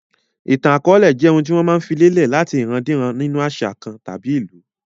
Ìtàn akọọlẹ jẹ́ ohun tí wọ́n máa filè lẹ̀ láti ìran-díran nínu àṣà kan tàbí ìlú